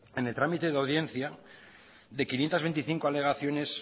en el trámite de audiencia de quinientos veinticinco alegaciones